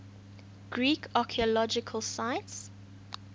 greek archaeological sites